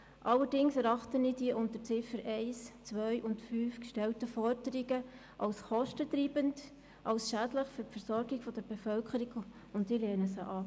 Allerdings erachte ich die unter den Ziffern 1, 2 und 5 gestellten Forderungen als kostentreibend und als schädlich für die Versorgung der Bevölkerung und lehne sie ab.